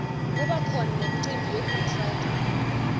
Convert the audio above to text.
kubakhona nemicimbi yegood friday